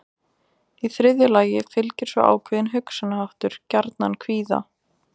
Í þriðja lagi fylgir svo ákveðinn hugsunarháttur gjarnan kvíða.